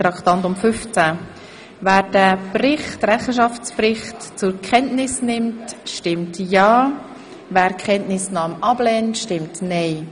Wer den Rechenschaftsbericht zur Kenntnis nimmt, stimmt ja, wer dies ablehnt, stimmt nein.